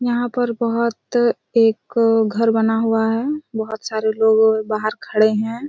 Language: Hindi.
यहाँ पर बहोत एक घर बना हुआ हैं बहोत सारे लोग बहार खड़े हैं।